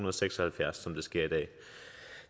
og seks og halvfjerds som det sker i dag